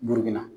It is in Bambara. Burukina